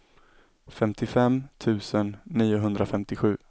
femtiofem tusen niohundrafemtiosju